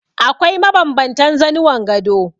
Akwai mabanbantan zanuwan gado.